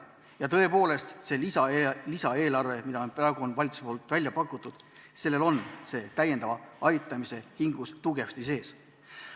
Ja tõepoolest, see lisaeelarve, mille valitsus on praegu välja pakkunud – sellel on täiendava aitamise hingus tugevasti sees.